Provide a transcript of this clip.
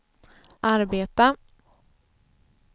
arbeta